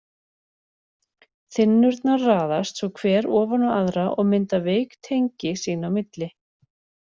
Þynnurnar raðast svo hver ofan á aðra og mynda veik tengi sín á milli.